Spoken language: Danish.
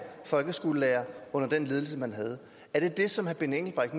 folkeskolelærere under den ledelse man havde er det det som herre benny engelbrecht